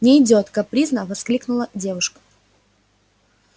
не идёт капризно воскликнула девушка